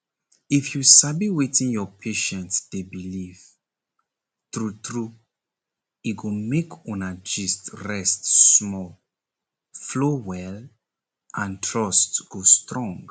if you sabi wetin your patient dey believe true true e go make una gist (rest small) flow well and trust go strong.